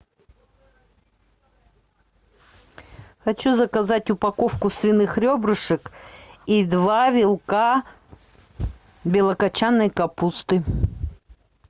хочу заказать упаковку свиных ребрышек и два вилка белокочанной капусты